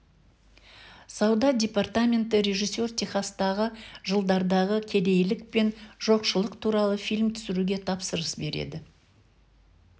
сауда департаменті режиссер техастағы жылдардағы кедейлік пен жоқшылық туралы фильм түсіруге тапсырыс береді